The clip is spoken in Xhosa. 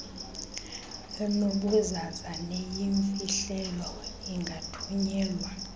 enobuzaza neyimfihlelo ingathunyelwa